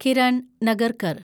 Kiran Nagarkar